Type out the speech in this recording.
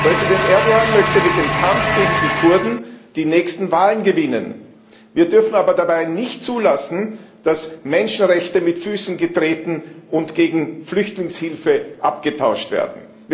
Präsident Erdoğan möchte mit dem Kampf gegen die Kurden die nächsten Wahlen gewinnen. Wir dürfen aber dabei nicht zulassen, dass Menschenrechte mit Füßen getreten und gegen Flüchtlingshilfe abgetauscht werden.